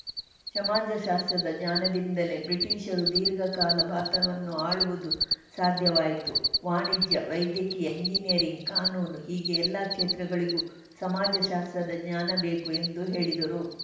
ಸಮಾಜಶಾಸ್ತ್ರದ ಜ್ಞಾನದಿಂದಲೇ ಬ್ರಿಟೀಷರು ದೀರ್ಘಕಾಲ ಭಾರತವನ್ನು ಆಳುವುದು ಸಾಧ್ಯವಾಯಿತು ವಾಣಿಜ್ಯ ವೈದ್ಯಕೀಯ ಇಂಜಿನಿಯರಿಂಗ್‌ ಕಾನೂನು ಹೀಗೆ ಎಲ್ಲಾ ಕ್ಷೇತ್ರಗಳಿಗೂ ಸಮಾಜಶಾಸ್ತ್ರದ ಜ್ಞಾನಬೇಕು ಎಂದು ಹೇಳಿದರು